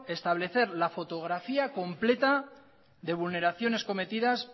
establecer la fotografía completa de vulneraciones cometidas